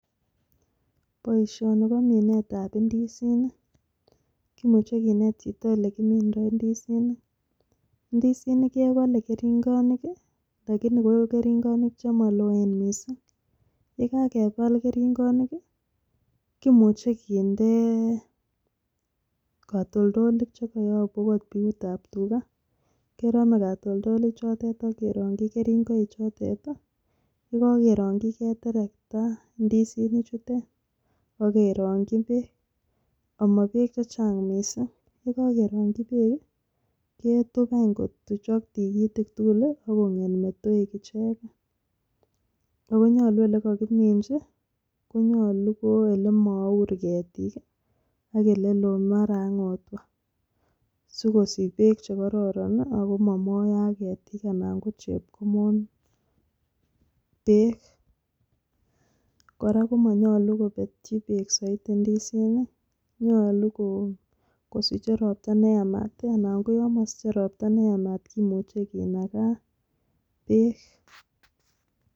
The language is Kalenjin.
Boishoni bo minetab indisinik kimuche kinet chito olekimindo ndisinik. Ndisikik kebole keringoik lakini ko keringoik che moloen missing, yekakebal keringonik kii kimuche kindee kotoldolik chekoyobu okot biutab tugaa kerome kotoldolik chotet ak kerongi keringoik chutet tii yeko kerongi keterekta ndisinik chutet ak kerongi beek amo beek chechang missing. Yekokeronki beek kii ketup any kotuchok tikitik tukul lii ak konget metoek icheken. Ako nyolu olekokiminchi konyolu ko olemour ketik kii ak eleloo ak mara ak ngotwa sikosich beek chekororon nii ako momoyo ak Ketik ana ko chepkomon beek. Kora komonyolu kopetyi beek soiti ndisinik nyolu koo kosiche ropta neyamat anan ko yon mosiche ropta neyamat tii kimuche kinakaa beek.